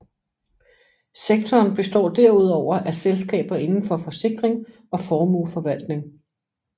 Sektoren består derudover af selskaber inden for forsikring og formueforvaltning